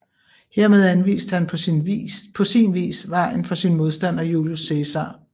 Hermed anviste han på sin vis vejen for sin modstander Julius Cæsar